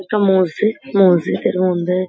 একটা মসজিদ মসজিদের মধ্যে--